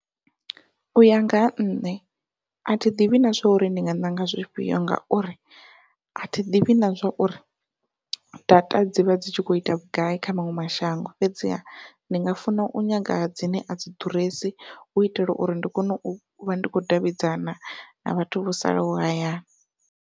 Uya nga ha nṋe athi ḓivhi na zwa uri ndi nga ṋanga zwifhio ngauri, athi ḓivhi na zwa uri data dzi vha dzi tshi kho ita vhugai kha maṅwe mashango fhedziha ndi nga funa u nyaga dzine a dzi ḓuresi hu itela uri ndi kone u vha ndi khou davhidzana na vhathu vho salaho hayani.